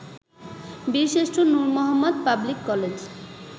Birshreshtha Nur Mohammad public college